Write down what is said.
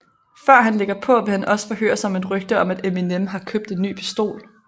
Før han lægger på vil han også forhøre sig om et rygte om at Eminem har købt en ny pistol